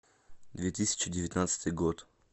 две тысячи девятнадцатый год